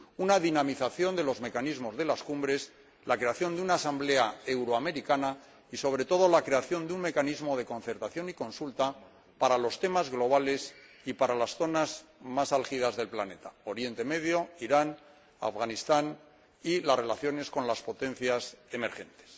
Una dinamización de los mecanismos de las cumbres, la creación de una Asamblea euroamericana y, sobre todo, la creación de un mecanismo de concertación y consulta para los temas globales y para las zonas más álgidas del planeta —Oriente Medio, Irán, Afganistán— y las relaciones con las potencias emergentes.